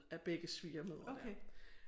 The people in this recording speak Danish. Af begge svigermødre der